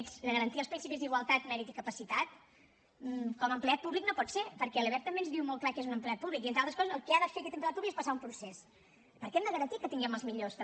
sense garantir els principis d’igualtat mèrit i capacitat com a empleat públic no pot ser perquè la lebep també ens diu molt clar què és un empleat públic i entre altres coses el que ha de fer aquest empleat públic és passar un procés perquè hem de garantir que tinguem els millors també